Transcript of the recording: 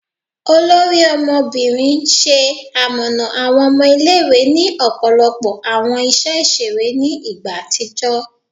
Ori Ọmọbinrin, ṣe amọna awọn ọmọ ile-iwe ni ọpọlọpọ awọn iṣẹ iṣere ni igba atijọ